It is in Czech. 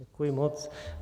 Děkuji moc.